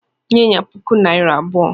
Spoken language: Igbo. "Nye ya puku naira abụọ"